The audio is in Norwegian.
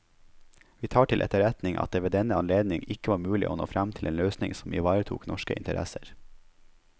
Vi tar til etterretning at det ved denne anledning ikke var mulig å nå frem til en løsning som ivaretok norske interesser.